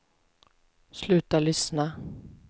sluta lyssna